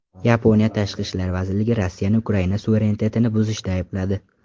Yaponiya tashqi ishlar vazirligi Rossiyani Ukraina suverenitetini buzishda aybladi.